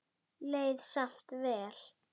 Leið samt vel.